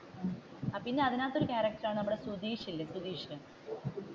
പിന്നെ അതിന്റെ അകത്തു ഒരു ക്യാരക്ടർ ആണ് നമ്മുടെ സുതീഷ് ഇല്ലേ സുതീഷ്